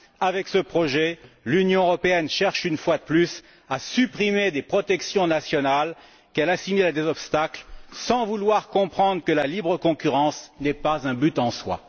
Avec ce projet, l'Union européenne cherche une fois de plus à supprimer des protections nationales qu'elle assimile à des obstacles, sans vouloir comprendre que la libre concurrence n'est pas un but en soi.